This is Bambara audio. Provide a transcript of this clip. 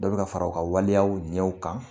Dɔ bi ka fara u ka waleyaw ɲɛw kan.